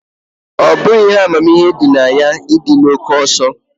Ọ bụghị ihe amamihe dị na ya ịdị na oke ọsọ